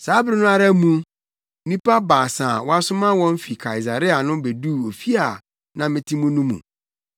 “Saa bere no ara mu, nnipa baasa a wɔasoma wɔn fi Kaesarea no beduu ofi a na mete mu no mu.